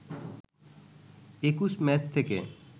২১ match থেকে